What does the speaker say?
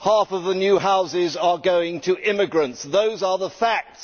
Half of the new houses are going to immigrants. Those are the facts.